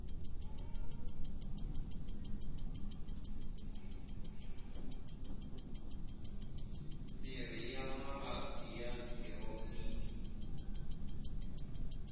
mirhi ya mavabyi ya khironiki